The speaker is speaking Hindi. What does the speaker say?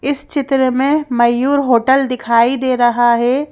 इस चित्र में मयूर हॉटेल दिखाई दे रहा है।